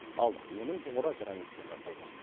ал оның тұғыры граниттен жасалмақ